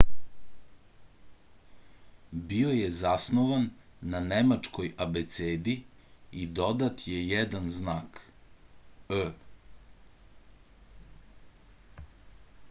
био је заснован је на немачкој абецеди и додат је један знак õ/õ